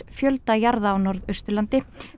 fjölda jarða á Norðausturlandi